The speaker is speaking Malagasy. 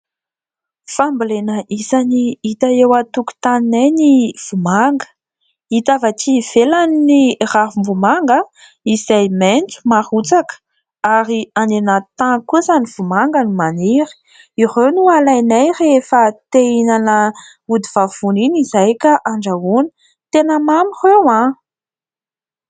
Fambolena isany hita eo antokotaninay ny "vomanga". Hita avy ety ivelany ny ravim-bomanga, izay maintso marotsaka ; ary any anaty tany kosa ny vomanga no maniry. Ireo no alainay rehefa te hihinana odivavony iny izahay, ka andrahoina. Tena mamy ireo ah!